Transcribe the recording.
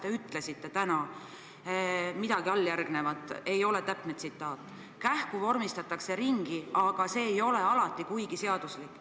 Te ütlesite midagi sellist – see ei ole täpne tsitaat –, et kähku vormistatakse midagi ringi, aga see ei ole alati seaduslik.